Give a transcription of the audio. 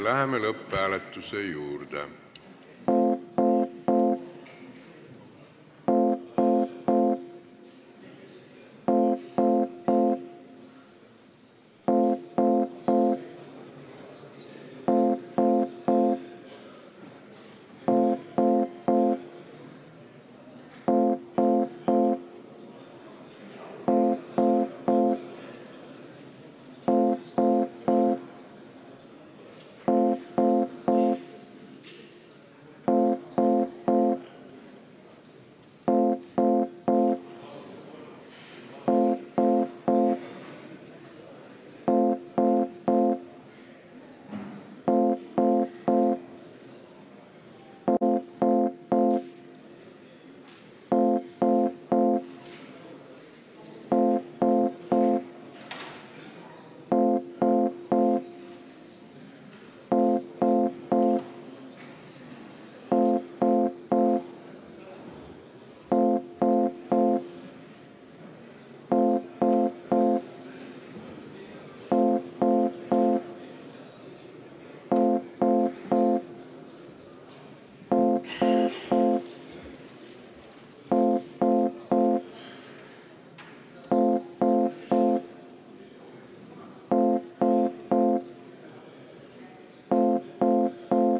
Läheme lõpphääletuse juurde.